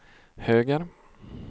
höger